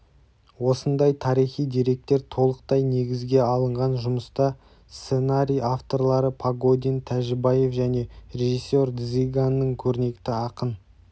осындай тарихи деректер толықтай негізге алынған жұмыста сценарий авторлары погодин тәжібаев және режиссер дзиганның көрнекті ақын